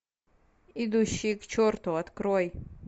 идущие к черту открой